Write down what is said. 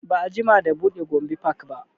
Ba a jima da buɗe gombe park ba